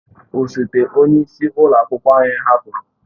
Osote onye isi ụlọ akwụkwọ anyị hapụrụ.